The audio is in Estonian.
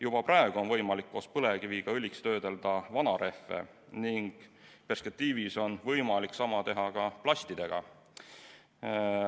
Juba praegu on võimalik koos põlevkiviga õliks töödelda vanarehve ning perspektiivis on võimalik sama teha ka plastidega.